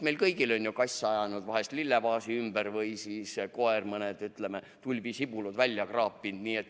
Meil kõigil on ju kass ajanud vahel lillevaasi ümber või koer mõne tulbisibula välja kraapinud.